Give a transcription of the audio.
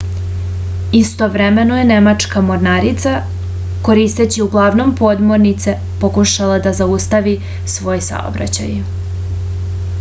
istovremeno je nemačka mornarica koristeći uglavnom podmornice pokušavala da zaustavi ovaj saobraćaj